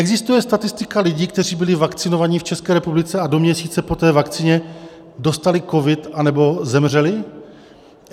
Existuje statistika lidí, kteří byli vakcinovaní v České republice a do měsíce po té vakcíně dostali covid anebo zemřeli?